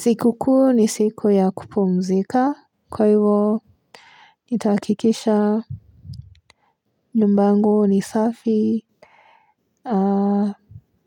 Siku kuu ni siku ya kupumzika. Kwa ivo Nitakikisha Nyumbangu ni safi. Haa.